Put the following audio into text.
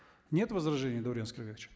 нет возражений даурен аскербекович